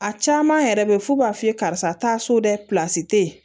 A caman yɛrɛ bɛ ye f'u b'a f'i ye karisa taa so dɛ tɛ yen